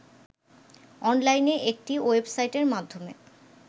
অনলাইনে একটি ওয়েবসাইটের মাধ্যমে